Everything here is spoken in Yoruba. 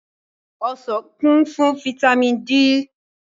Ọsàn kún fún fataímìn D.